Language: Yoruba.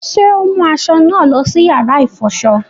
Ṣe o mu aṣọ naa lọ sí yàrá ifọṣọ?